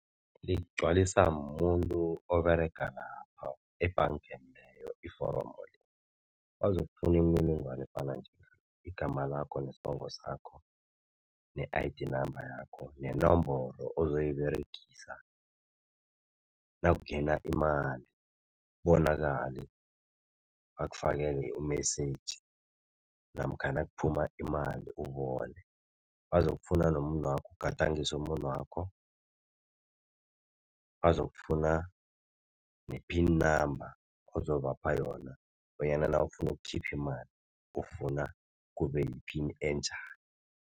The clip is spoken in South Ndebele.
Ligcwaliswa mumuntu oberegako lapho ebhangeni leyo iforomo lelo. Bazokufuna imininingwana efana njengale igama lakho, nesibongo sakho, ne-I_D namba yakho nenomboro ozoyiberegisa nakungena imali, kubonakale bakufakele umesiji namkha nakuphuma imali ubone. Bazokufuna nomuno wakho ugadangise umunwakho, bazokufuna ne-pin namba ozobapha yona bonyana nawufuna ukukhipha imali ufuna kube yiphini enjani.